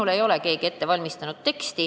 Minule ei ole keegi teksti ette valmistanud.